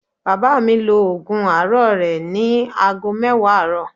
Bàbá mi lo ògùn àárọ̀ rẹ̀ ní ago mẹ́wàá àárọ̀